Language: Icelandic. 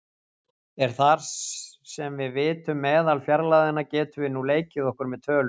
En þar sem við vitum meðalfjarlægðina getum við nú leikið okkur með tölur.